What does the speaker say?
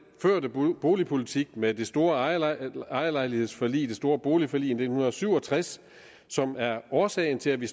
førte boligpolitik med det store ejerlejlighedsforlig det store boligforlig i nitten syv og tres som er årsagen til at vi